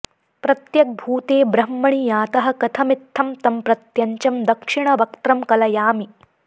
प्रत्यग्भूते ब्रह्मणि यातः कथमित्थं तं प्रत्यञ्चं दक्षिणवक्त्रं कलयामि